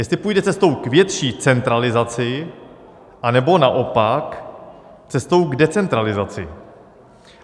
Jestli půjde cestou k větší centralizaci, anebo naopak cestou k decentralizaci.